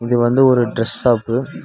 இது வந்து ஒரு டிரஸ் ஷாப்பு .